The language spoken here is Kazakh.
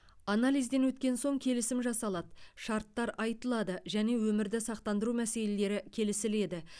анализден өткен соң келісім жасалады шарттар айтылады және өмірді сақтандыру мәселелері келісіледі